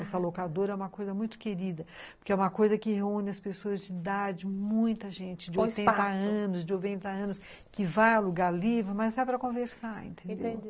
Essa locadora é uma coisa muito querida, porque é uma coisa que reúne as pessoas de idade, muita gente de oitenta anos, de noventa anos, que vai alugar livros, mas é para conversar, entendeu? entendi.